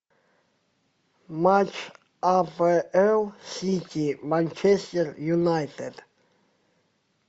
матч апл сити манчестер юнайтед